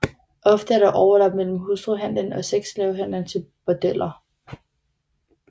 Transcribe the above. Ofte er der overlap mellem hustruhandlen og sexslavehandelen til bordeller